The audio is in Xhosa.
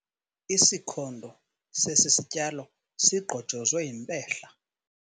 Isikhondo sesi sityalo sigqojozwe yimpehla.